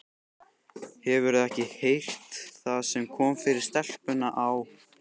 Hefurðu ekki heyrt það sem kom fyrir stelpuna á